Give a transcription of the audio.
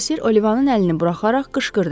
Bosir Olivanın əlini buraxaraq qışqırdı.